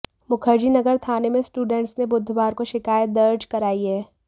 मुखर्जी नगर थाने में स्टूडेंट्स ने बुधवार को शिकायत दर्ज कराई है